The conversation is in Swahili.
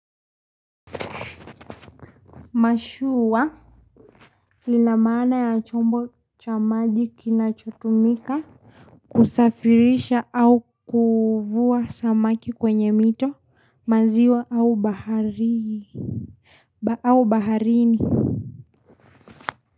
Mashua lina maana ya chombo cha maji kinachotumika kusafirisha au kuvua samaki kwenye mito maziwa au baharii au baharini.